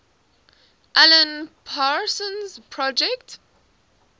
alan parsons project